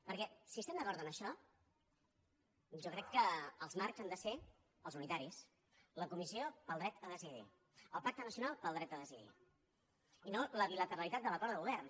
perquè si estem d’acord en això jo crec que els marcs han de ser els unitaris la comissió pel dret a decidir el pacte nacional pel dret a decidir i no la bilateralitat de l’acord de govern